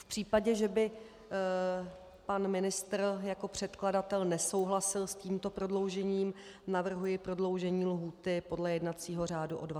V případě, že by pan ministr jako předkladatel nesouhlasil s tímto prodloužením, navrhuji prodloužení lhůty podle jednacího řádu o 20 dnů.